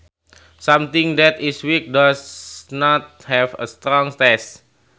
Something that is weak does not have a strong taste